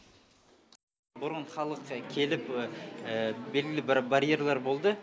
бұрын халыққа келіп белгілі бір барьерлар болды